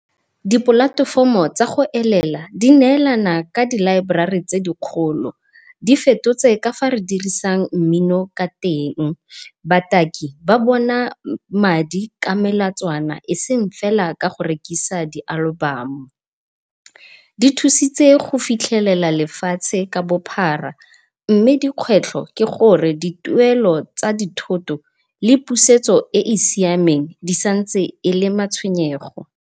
Dipolatofomo tsa go elela di neelana ka di library tse di kgolo, di fetotse kafa re dirisang mmino ka teng bataki ba bona a madi ka melatswana eseng fela ka go rekisa di-album-o. Di thusitse go fitlhelela lefatshe ka bophara mme dikgwetlho ke gore dituelo tsa dithoto le pusetso e e siameng di santse e le matshwenyego.